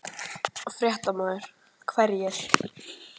Fréttamaður: Hverjir?